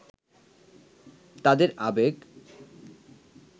তাদের আবেগ